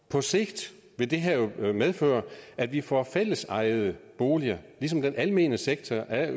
på sigt vil det her jo medføre at vi får fællesejede boliger ligesom den almene sektor er